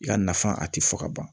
I ka nafa a ti fɔ ka ban